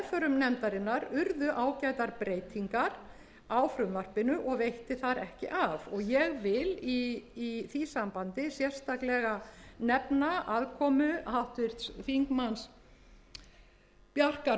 nefndarinnar urðu ágætar breytingar á frumvarpinu og veitti þar ekki af ég vil í því sambandi sérstaklega nefna aðkomu háttvirtur þingmaður bjarkar